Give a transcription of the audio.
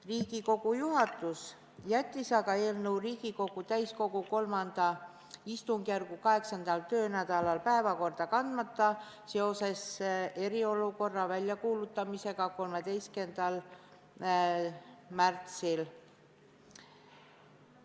Riigikogu juhatus jättis aga eelnõu Riigikogu täiskogu III istungjärgu 8. töönädala päevakorda kandmata, sest 13. märtsil kuulutati välja eriolukord.